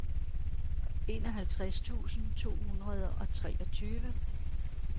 enoghalvtreds tusind to hundrede og treogtyve